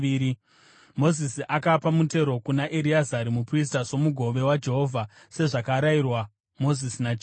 Mozisi akapa mutero kuna Ereazari muprista somugove waJehovha, sezvakarayirwa Mozisi naJehovha.